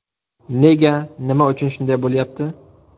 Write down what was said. Nega, nima uchun shunday bo‘lyapti?